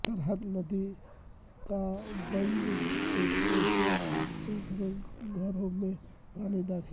ترہت ندی کاباندھ ٹوٹنے سے سیکڑوں گھروں میں پانی داخل